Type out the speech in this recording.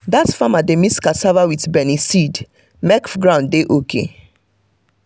dat farmer dey mix cassava with beniseed make ground dey okay.